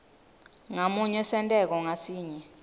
ngamunye senteko ngasinye